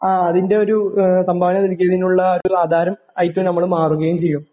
ആ അതിൻ്റെ ഒരു സംഭാവന നൽകിയതിനുള്ള ഒരു നമ്മള് മാറുകയും ചെയ്യും.